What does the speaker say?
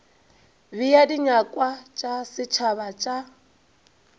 bea dinyakwa tša setšhaba tša